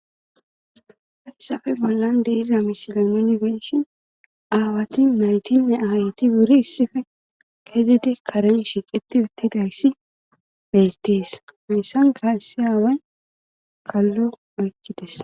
Hassafe bollan deiza misilan yunifeshin aawati naytinne aayati wuri issife kezide karen shiqeti uttigayssi bettees mesan ga ssi aaway kallo oykkides